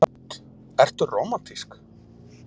Hödd: Ertu rómantísk?